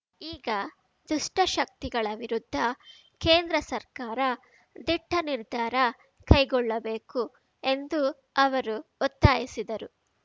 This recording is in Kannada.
ಈ ದುಷ್ಟಶಕ್ತಿಗಳ ವಿರುದ್ಧ ಕೇಂದ್ರ ಸರ್ಕಾರ ದಿಟ್ಟನಿರ್ಧಾರ ಕೈಗೊಳ್ಳಬೇಕು ಎಂದು ಅವರು ಒತ್ತಾಯಿಸಿದರು